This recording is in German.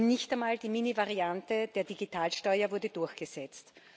Nicht einmal die Minimalvariante der Digitalsteuer wurde durchgesetzt.